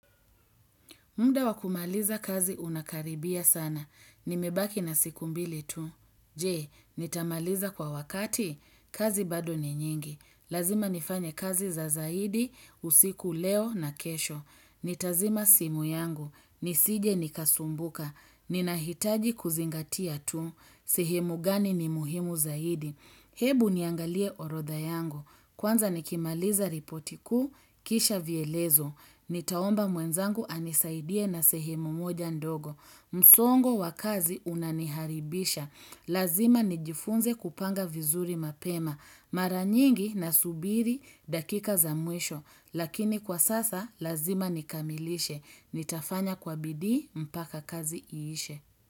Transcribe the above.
Muda wakumaliza kazi unakaribia sana. Nimebaki na siku mbili tu. Jee, nitamaliza kwa wakati? Kazi bado ni nyingi. Lazima nifanye kazi za zaidi, usiku leo na kesho. Nitazima simu yangu. Nisije nikasumbuka. Ninahitaji kuzingatia tu. Sehemu gani ni muhimu zaidi. Hebu niangalie orodha yangu. Kwanza nikimaliza ripoti kuu, kisha vielezo. Nitaomba mwenzangu anisaidie na sehemu moja ndogo. Msongo wa kazi unaniharibisha. Lazima nijifunze kupanga vizuri mapema. Mara nyingi nasubiri dakika za mwisho. Lakini kwa sasa lazima nikamilishe. Nitafanya kwa bidii mpaka kazi iishe.